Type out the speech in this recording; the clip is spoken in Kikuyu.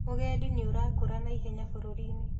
ũgendi nĩũrakũra naihenya bũrũri-inĩ